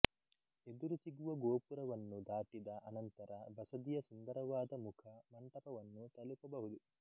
ಎದುರು ಸಿಗುವ ಗೋಪುರವನ್ನು ದಾಟಿದ ಅನಂತರ ಬಸದಿಯ ಸುಂದರವಾದ ಮುಖ ಮಂಟಪವನ್ನು ತಲುಪಬಹುದು